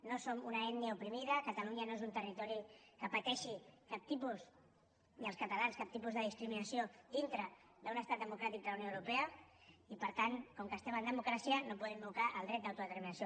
no som una ètnia oprimida catalunya no és un territori que pateixi ni els catalans cap tipus de discriminació dintre d’un estat democràtic de la unió europea i per tant com que estem en democràcia no podem invocar el dret d’autodeterminació